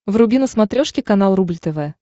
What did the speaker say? вруби на смотрешке канал рубль тв